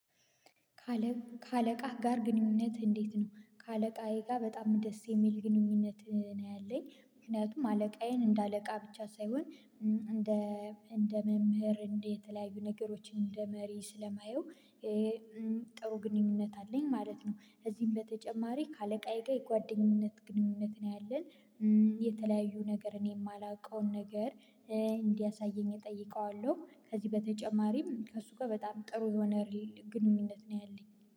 ከአለቃህ ጋር ግንኙነት እንዴት ነው? ከአለቃዬ ጋ በጣም ደስ የሚል ግንኙነት እ ነው ያለኝ ምክንያቱም አለቃዬን እንደ አለቃ ብቻ ሳይሆን እንደ እንደ መምህር እንደ የተለያዩ ነገሮችን እንደ መሪ ስለማየው እ እም ጥሩ ግንኙነት አለኝ ማለት ነው። እዚህም በተጨማሪ ከአለቃየ ጋ የጓደኝነት ግንኙነት ነው ያለን እም የተለያዩ ነገር እኔ የማላውቀውን ነገር እ እንዲያሳየኝ እጠይቀዋለሁ። ከዚህ በተጨማሪም ከእሱ ጋር በጣም ጥሩ የሆነ ግንኙነት ነው ያለኝ